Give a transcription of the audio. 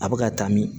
A bɛ ka taa min